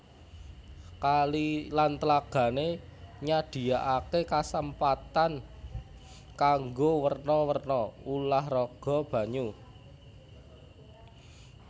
Kali lan tlagané nyadhiakaké kasempatan kanggo werna werna ulah raga banyu